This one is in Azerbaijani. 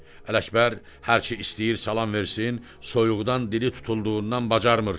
Ələkbər hərçi istəyir salam versin, soyuqdan dili tutulduğundan bacarmır.